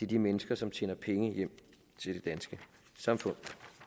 de mennesker som tjener penge hjem til det danske samfund